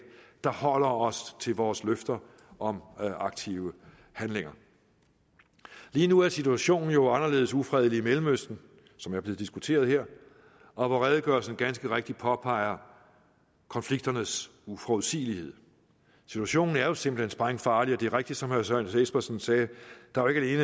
der holder os til vores løfter om aktive handlinger lige nu er situationen jo anderledes ufredelig i mellemøsten som er blevet diskuteret her og hvor redegørelsen ganske rigtigt påpeger konflikternes uforudsigelighed situationen er jo simpelt hen sprængfarlig og det er rigtigt som herre søren espersen sagde at der jo ikke